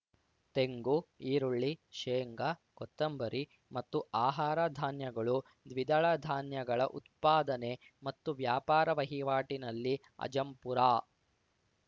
ತೆಂಗು ಈರುಳ್ಳಿ ಶೇಂಗಾ ಕೊತ್ತಂಬರಿ ಮತ್ತು ಆಹಾರ ಧಾನ್ಯಗಳು ದ್ವಿದಳ ಧಾನ್ಯಗಳ ಉತ್ಪಾದನೆ ಮತ್ತು ವ್ಯಾಪಾರ ವಹಿವಾಟಿನಲ್ಲಿ ಅಜಂಪುರ